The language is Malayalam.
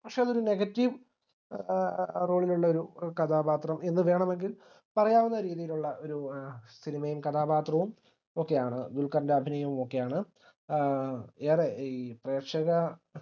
പക്ഷെ അതൊരു negative ഏഹ് role ലുള്ള കഥാപാത്രം എന്നു വേണമെങ്കിൽ പറയാവുന്ന രീതിയിലുള്ള ഒര് ഏഹ് cinema യും കഥാപാത്രവും ഒക്കെയാണ് ദുൽഖറിന്റെ അഭിനയുമൊക്കെയാണ് ആഹ് ഏറെ ഈ പ്രേക്ഷക